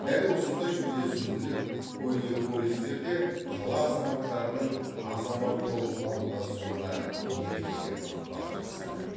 дәл осындай үйлесімділік көне полистерде қала азаматтарының азамат болып қалыптасуына ерекше ықпал жасады